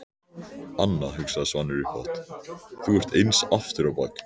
Anna, hugsaði Svanur upphátt, þú ert eins aftur á bak.